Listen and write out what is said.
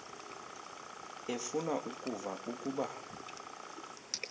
efuna ukuva ukuba